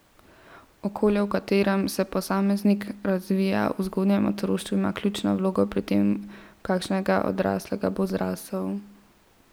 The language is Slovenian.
Okolje, v katerem se posameznik razvija v zgodnjem otroštvu, ima ključno vlogo pri tem, v kakšnega odraslega bo zrasel.